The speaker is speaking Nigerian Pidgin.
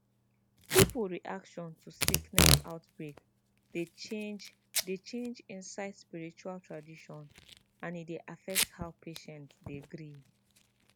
people reaction to sickness outbreak dey change dey change inside spiritual tradition and e dey affect how patients dey gree